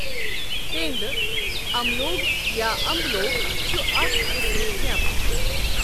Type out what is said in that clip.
تینٛدٕ، اَملوگ یا اَمبلوگ چھُ اَکھ قِسمُک مؠوٕ ۔